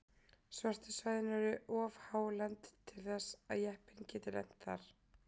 Svörtu svæðin eru of hálend til þess að jeppinn geti lent þar.